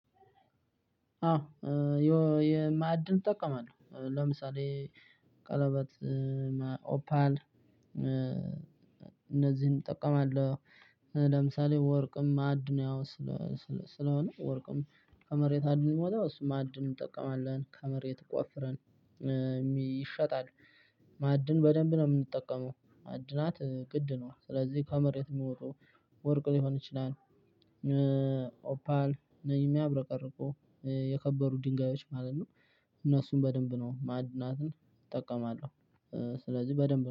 አዎ የማዕድን እጠቀማለሁ ለምሳሌ ቀለበት ኦፓን ኦፓል እነዚህን እጠቀማለሁ። ለምሳሌ ወርቅም ማዕድን ያው ስለሆነ ወርቅም ከመሬት አደል የሚወጣው ማዕድን እንጠቀማለን ከመሬት ቆፍረን። ይሸጣል። ማዕድን በደንብ ነው የምንጠቀመው። ማዕድናት ቅድ ነው ስለዚህ ከመሬት የሚወጡ ወርቅ ሊሆን ይችላል። ኦፓል የሚያብረቀርቁ የከበሩ ድንጋዮች ማለት ነው። እነሱን በደንብ ነው ማዕድናትን እጠቀማለሁ። ስለዚህ በደንብ